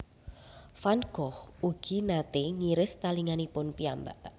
Van Gogh ugi naté ngiris talinganipun piyambak